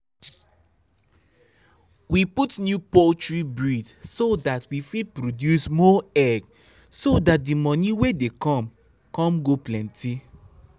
i dey show face for animal fair so that fair so that i fit find strong animal to take expand our farm